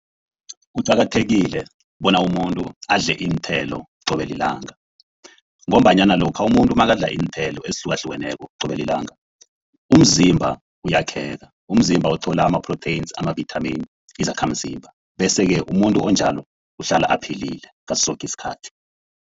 Kuqakathekile bona umuntu adle iinthelo qobe lilanga, ngombanyana lokha umuntu nakadla iinthelo ezihlukahlukeneko qobe lilanga umzimba uyakheka, umzimba uthola ama-proteins, ama-vitamin, izakhamzimba, bese-ke umuntu onjalo uhlala aphilile ngaso soke isikhathi.